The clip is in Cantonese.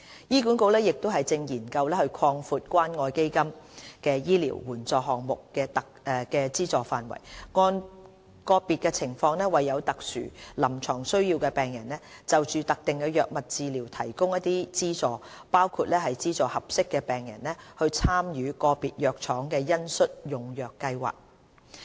醫管局亦正研究擴闊關愛基金醫療援助項目的資助範圍，按個別情況為有特殊臨床需要的病人就特定藥物治療提供資助，包括資助合適的病人參與個別藥廠的恩恤用藥計劃。